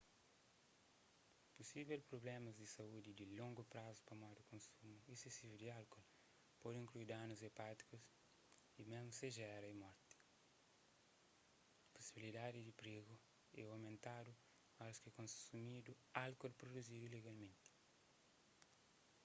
pusível prublémas di saúdi di longu prazu pamodi konsumu esesivu di álkol pode inklui danus epátikus y mésmu segera y morti pusibilidadi di prigu é omentadu óras ki konsumidu álkol pruduzidu ilegalmenti